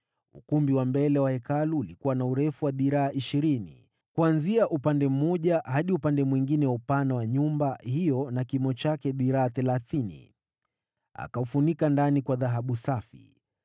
Ukumbi wa mbele wa Hekalu ulikuwa na urefu wa dhiraa ishirini, yaani, kuanzia upande mmoja hadi upande mwingine wa upana wa nyumba hiyo na kimo chake dhiraa thelathini. Akaufunika ndani kwa dhahabu safi.